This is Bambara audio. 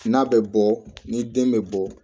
N'a bɛ bɔ ni den bɛ bɔ